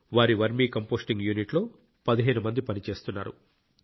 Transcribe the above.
వారి vermicomposting యూనిట్లో 15 మంది పని చేస్తున్నారు